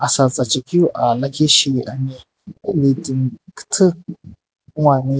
asa tsa jae keu ah lakhi shiane hilae tim khiithi nguoane.